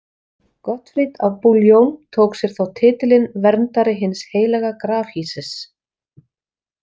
Gottfrid af Bouillon tók sér þá titilinn „verndari hins heilaga grafhýsis“.